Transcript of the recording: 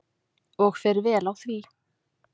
Og fer vel á því.